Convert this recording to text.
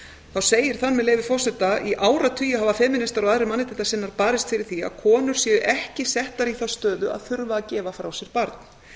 þá segir þar með leyfi forseta í áratugi hafa femínistar og aðrir mannréttindasinnar barist fyrir því að konur séu ekki settar í þá stöðu að þurfa að gefa frá sér barn það